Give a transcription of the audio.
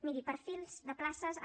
miri perfils de places amb